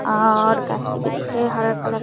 और भी दिख रही हरा कलर --